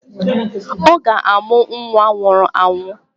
Ọ ga-amụ nwa nwụrụ anwụ